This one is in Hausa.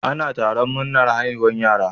Ana taron murnar haihuwar yara.